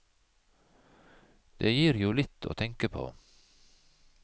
Det gir jo litt å tenke på.